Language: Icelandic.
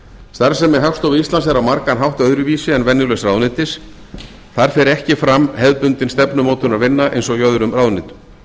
starfsemi hagstofu íslands er á margan hátt öðruvísi en venjulegs ráðuneytis þar fer ekki fram hefðbundin stefnumótunarvinna eins og í öðrum ráðuneytum